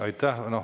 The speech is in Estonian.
Aitäh!